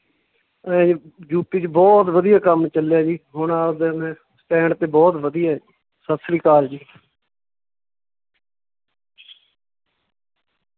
ਇਵੇਂ ਯੂਪੀ ਚ ਬਹੁਤ ਵਧੀਆ ਕੰਮ ਚੱਲਿਆ ਜੀ, ਹੁਣ ਆਵਦਾ ਮੈਂ stand ਤੇ ਬਹੁਤ ਵਧੀਆ ਸਤਿ ਸ੍ਰੀ ਅਕਾਲ ਜੀ।